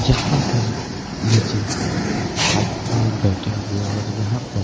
जहां पर नीचे आदमी लोग भी बैठे हुए हैं और यहां पे